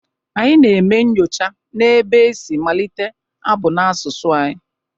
Anyị na-eme nnyocha n’ebe e si malite abụ n’asụsụ anyị